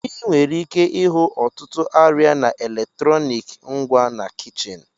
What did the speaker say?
Ị nwere ike ịhụ ọtụtụ arịa na eletrọnịkị ngwa na kichin.